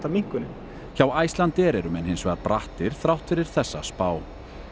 minnkunin hjá Icelandair eru menn hins vegar brattir þrátt fyrir þessa spá